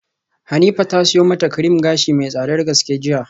Hanifa ta siyo mata cream gashi mai tsadar gaske jiya.